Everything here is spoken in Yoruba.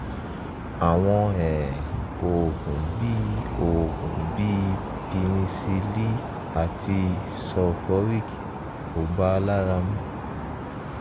àwọn um oògùn bíi oògùn bíi pinnecilli àti sulphoric kò bàa lára mu